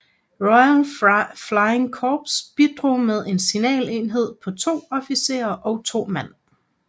Royal Flying Corps bidrog med en signalenhed på to officerer og 2 mand